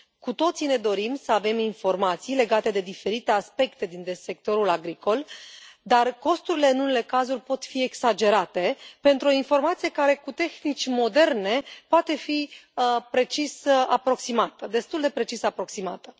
Cu toții ne dorim să avem informații legate de diferite aspecte din sectorul agricol, dar costurile, în unele cazuri, pot fi exagerate pentru o informație care, cu tehnici moderne, poate fi destul de precis aproximată.